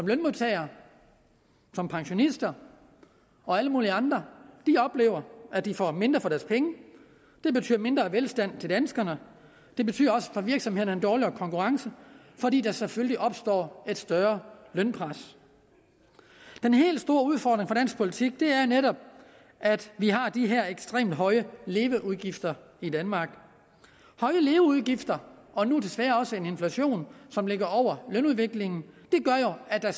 lønmodtagere pensionister og alle mulige andre oplever at de får mindre for deres penge og det betyder mindre velstand til danskerne det betyder også for virksomhederne en dårligere konkurrence fordi der selvfølgelig opstår et større lønpres den helt store udfordring for dansk politik er netop at vi har de her ekstremt høje leveudgifter i danmark høje leveudgifter og nu desværre også en inflation som ligger over lønudviklingen gør jo at der